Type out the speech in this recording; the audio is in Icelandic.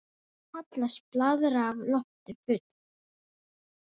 Kallast blaðra af lofti full.